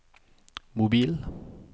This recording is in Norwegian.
mobil